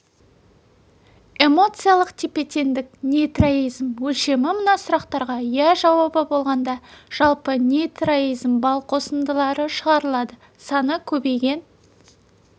эмоциялық тепе-тендік нейротизм өлшемі мына сұрақтарға иә жауабы болғанда жалпы нейротизм балл косындылары шығарылады саны көбейген